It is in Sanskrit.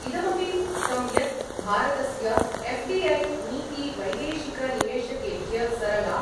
इदमपि उक्तं यत् भारतस्य एफ् डि ऐ नीति वैदेशिकनिवेशकेभ्य सरला